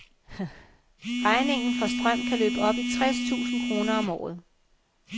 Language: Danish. Regningen for strøm kan løbe op i tres tusind kroner om året.